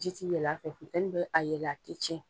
Jiti yɛlɛ a fɛ, funteni bɛ a yɛlen ati tiɲɛ.